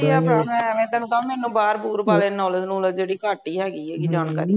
ਵਧੀਆ ਭਰਾ ਮੈ ਐਵੇਂ ਤੈਨੂੰ ਕਹਵਾਂ ਮੈਨੂੰ ਬਾਹਰ ਬੂਹਰ ਬਾਰੇ knowledge ਨੂਲੇਜ਼ ਜਿਹੜੀ ਘੱਟ ਹੀ ਹੈਗੀ ਹੈਗੀ ਜਾਣਕਾਰੀ